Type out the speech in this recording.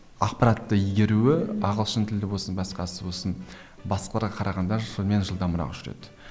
ақпаратты игеруі ағылшын тілі болсын басқасы болсын басқаларға қарағанда шынымен жылдамырақ жүреді